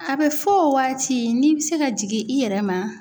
A bɛ fɔ o waati n'i bɛ se ka jigin i yɛrɛ ma